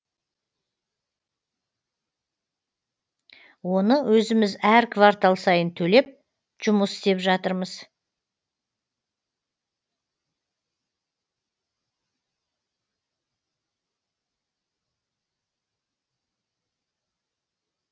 оны өзіміз әр квартал сайын төлеп жұмыс істеп жатырмыз